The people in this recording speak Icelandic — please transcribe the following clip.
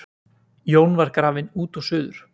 Jón var grafinn út og suður.